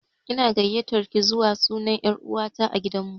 Ina gayatar ki zuwa suna na er'uwa ta a gidan mu.